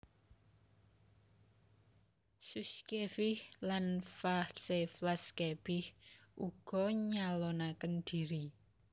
Shushkevich lan Vyacheslav Kebich ugi nyalonaken dhiri